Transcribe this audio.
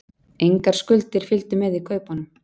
Engar skuldir fylgdu með í kaupunum